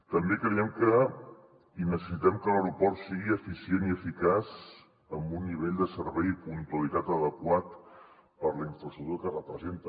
també necessitem que l’aeroport sigui eficient i eficaç amb un nivell de servei i puntualitat adequat per la infraestructura que representa